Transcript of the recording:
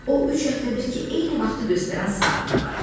O, üç həftədir ki, eyni vaxtı göstərən saatına baxdı.